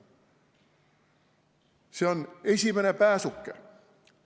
See on esimene pääsuke.